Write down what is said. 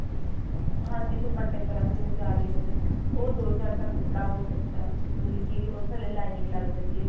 ਹਾਂਜੀ ਦੁਪੱਟੇ ਦੀ ਤਰ੍ਹਾਂ ਜਿਵੇਂ ਜਾਲੀ ਹੋਵੇ ਉਹ ਜੋਰਜੱਟ ਦਾ ਕੱਪੜਾ ਬਹੁਤ ਅੱਛਾ ਮਤਲਬ ਕੀ ਉਹਦੇ ਥੱਲੇ lining ਲੱਗ ਜਾਂਦੀ ਏ